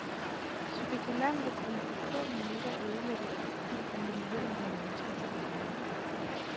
Spekulanter kunne på få minutter ødelægge frugten af millioner af menneskers arbejde.